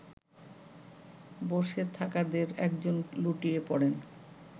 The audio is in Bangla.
বসে থাকাদের একজন লুটিয়ে পড়েন